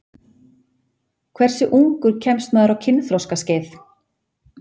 Hversu ungur kemst maður á kynþroskaskeið?